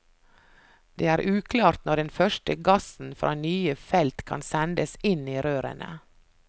Det er uklart når den første gassen fra nye felt kan sendes inn i rørene.